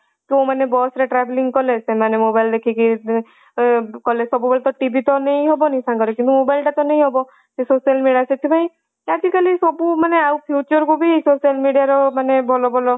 ଯୋଉମାନେ bus ରେ traveling କଲେ ସେମାନେ mobile ଦେଖିକି କଲେ ସବୁବେଳେ TV ତ ନେଇ ହବନି ସାଙ୍ଗରେ କିନ୍ତୁ mobile ଟା ତ ନେଇ ହବ ସେ social media ସେଥିପାଇଁ ଆଜି କାଲି ସବୁ ମାନେ ଆଉ future କୁ ବି social media ର ବି ଭଲ ଭଲ